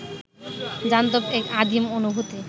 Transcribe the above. জান্তব এক আদিম অনুভূতি